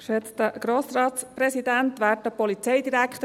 Kommissionssprecherin der FiKo.